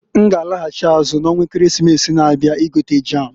N g'alaghachị azụ na onwa Ekeresimesi na-abia igota jam.